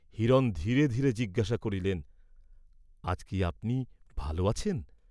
হিরণ ধীরে ধীরে জিজ্ঞাসা করিলেন আজ কি আপনি ভাল আছেন?